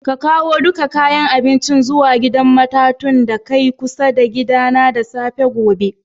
Ka kawo dukan kayan abincin zuwa gidan matatun da kai kusa da gida na da safafe gobe!